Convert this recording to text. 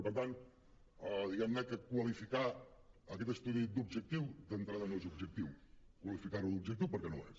per tant diguem ne que qualificar aquest estudi d’objectiu d’entrada no és objectiu qualificar lo d’objectiu perquè no ho és